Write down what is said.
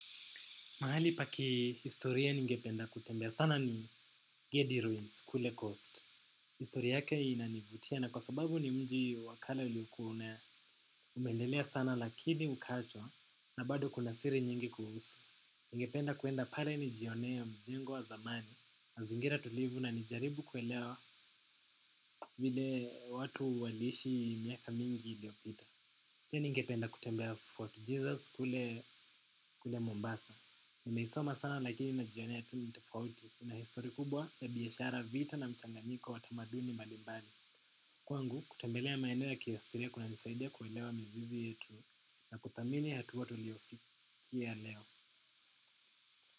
Mahali pa kihistoria ningependa kutembea sana ni Geddy ruins kule coast. Historia yake inanivutia na kwa sababu ni mji wakale uliokua umeendelea sana lakini ukaachwa, na bado kuna siri nyingi kuuhusu. Ningependa kwenda pale nijionea mjengo wa zamani. Mazingira tulivu na nijaribu kuelewa vile watu waliishi miaka mingi iliyopita. Pia ningependa kutembea Fort Jesus kule Mombasa. Nimeisoma sana lakini najionea tu ni tafauti, kuna histori kubwa ya biashara, vita na mchanganyiko wa tamaduni mbalimbali. Kwangu, kutembelea maeneo ya kihistoria kunanisaidia kuelewa mizizi yetu, na kuthamini hatua tuliofikia leo.